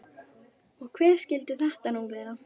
Og hver skyldi þetta nú vera?